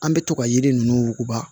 An bɛ to ka yiri ninnu wuguba